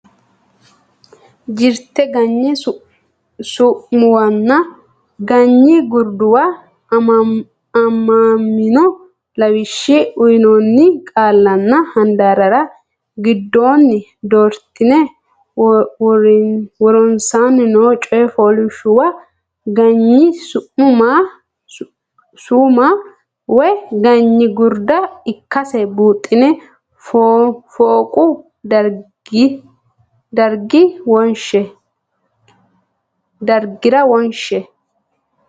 Jirte Ganyi Su muwanna Ganyi Gurduwa aamamino lawishshi uynoonni qaallanna handaarra giddonni doortine woronsaanni noo coy fooliishshuwa ganyi su ma woy ganyi gurda ikkasi buuxxine fooqu dargira wonshe.